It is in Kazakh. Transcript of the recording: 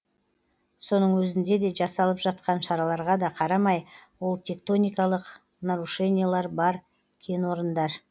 соның өзінде де жасалып жатқан шараларға да қарамай ол тектоникалық нарушениелер бар кенорындар